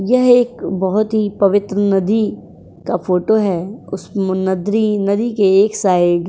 यह एक बहोत ही पवित्र नदी का फोटो है। उस मु नद्रि नदी के एक साइड --